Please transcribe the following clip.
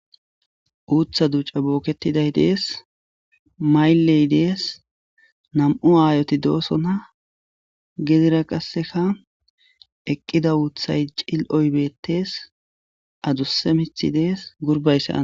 Utha duca boketidays des mayley des nam'u ayoti dosona gedera qaseka eqiqa uthay ciloy betes adusa mithay des gurbay sa'n